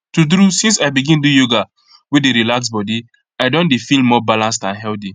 true true since i begin do yoga wey dey relax body i don dey feel more balanced and healthy